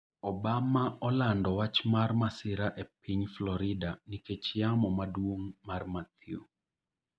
Obama olando wach mar masira e piny Florida nikech yamo maduong' mar Matthew